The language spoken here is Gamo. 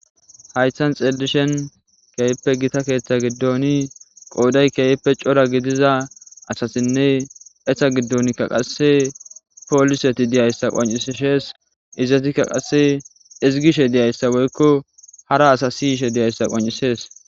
haytan xeellishen keeyippe gita keeththa giddoni qooday keeyippe cora gidiza asasinne eha giddonkka qasse pooliseti diyayssa qoncishees izatikka qasse izigishe diyayssa woykko hara asa siyishe diyayssa qoncisees